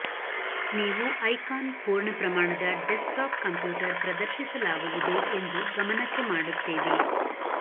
ನೀವು ಐಕಾನ್ ಪೂರ್ಣ ಪ್ರಮಾಣದ ಡೆಸ್ಕ್ಟಾಪ್ ಕಂಪ್ಯೂಟರ್ ಪ್ರದರ್ಶಿಸಲಾಗುವುದು ಎಂದು ಗಮನಕ್ಕೆ ಮಾಡುತ್ತೇವೆ